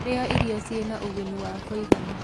rĩa irio ciĩna ũguni wa kuigana